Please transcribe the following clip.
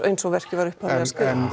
eins og verkið var upphaflega skrifað